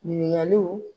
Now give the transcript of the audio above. Ɲininkaliw